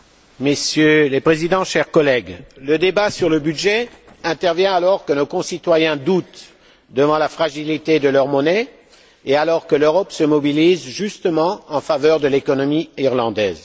Messieurs les présidents, chers collègues, le débat sur le budget intervient alors que nos concitoyens doutent devant la fragilité de leur monnaie et que l'Europe se mobilise justement en faveur de l'économie irlandaise.